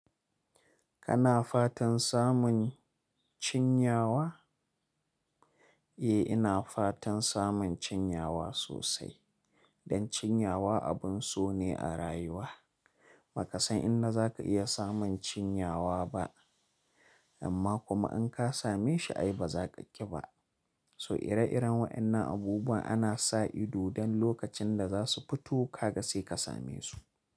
Kana fatan samun cinyawa? Eh, ina fatan samun cinyawa sosai dan cinyawa abin so ne a rayuwa. Baka san inda zaka iya samun cinyawa ba, amma kuma in ka same shi ai ba za ka ƙi ba. So ire-iren waɗannan abubuwa ana sa ido don lokacin da za su fito kaga sai ka same su.